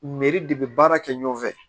Mɛri de bɛ baara kɛ ɲɔgɔn fɛ